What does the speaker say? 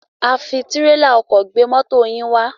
A fi tírélà ọkọ̀ gbé mọ́to yín wá.